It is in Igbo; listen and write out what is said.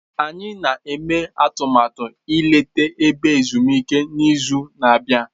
Anyị na-eme atụmatụ ileta ebe ezumike n'izu na-abịa.